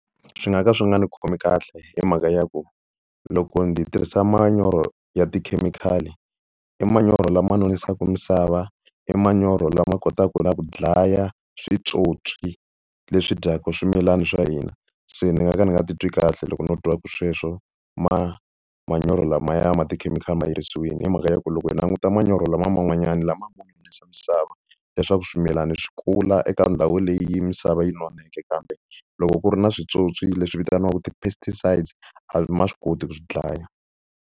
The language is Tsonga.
Swi nga ka swi nga ndzi khomi kahle hi mhaka ya ku loko ndzi tirhisa manyoro ya tikhemikhali i manyoro lama nonisaka misava. I manyoro lama kotaka na ku dlaya switsotswi leswi dyaka swimilana swa hina se ni nga ka ndzi nga titwi kahle loko no twa sweswo manyoro lamaya ma tikhemikhali ma herisiwile, hi mhaka ya ku loko hi languta manyoro lama man'wanyana lama misava leswaku swimilana swi kula eka ndhawu leyi misava yi noneke kambe loko ku ri na switsotswi leswi vitaniwaka ti pesticides a ma swi koti ku swi dlaya.